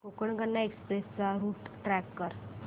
Konkan Kanya express चा route track कर